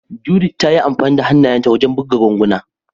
Judith ta yi amfani da hannayenta wajen buga ganguna.